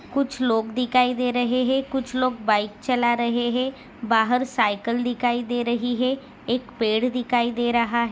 कूछ लोग दिखाई दे रहे है कुछ लोग बाइक चला रहे हैं बाहर सायकल दिखाई दे रही है एक पेड़ दिखाई दे रहा।